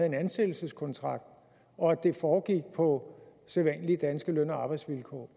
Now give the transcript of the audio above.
en ansættelseskontrakt og at det foregik på sædvanlige danske løn og arbejdsvilkår